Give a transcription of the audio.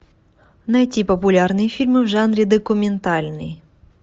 найти популярные фильмы в жанре документальный